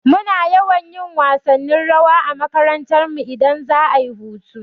Muna yawan yin wasannin rawa a makarantarmu idan za'a yi hutu.